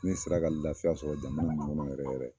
Ne sera ka lafiya sɔrɔ jamana min kɔnɔ yɛrɛ yɛrɛ